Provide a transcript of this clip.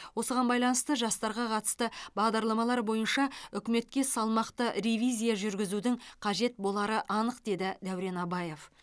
осыған байланысты жастарға қатысты бағдарламалар бойынша үкіметке салмақты ревизия жүргізудің қажет болары анық деді дәурен абаев